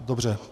Dobře.